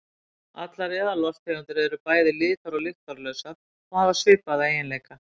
Allar eðallofttegundir eru bæði litar- og lyktarlausar og hafa svipaða eiginleika.